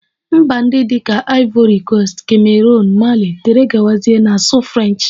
Mba ndị dị ka ivori koast, kameroon, Mali wdg na-asụ French